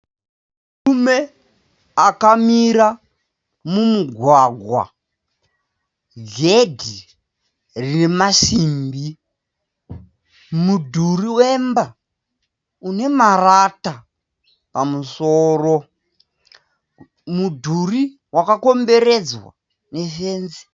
Murume akamira mumugwagwa. Gedhi remasimbi. Mudhuri wemba unemarata pamusoro. Mudhuri wakakomberedzwa nefenzi.